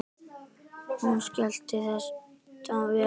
Hún skilji þetta vel.